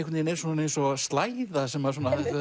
er svona eins og slæða sem